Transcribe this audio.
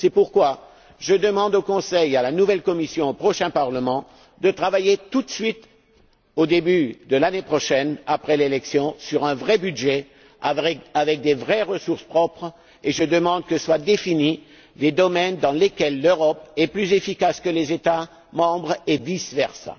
C'est pourquoi je demande au Conseil, à la nouvelle Commission et au prochain Parlement de travailler tout de suite, au début de l'année prochaine, après l'élection, sur un vrai budget doté de vraies ressources propres et je demande que soient définis les domaines dans lesquels l'Europe est plus efficace que les États membres, et vice versa.